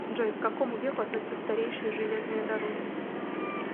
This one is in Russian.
джой к какому веку относятся старейшие железные дороги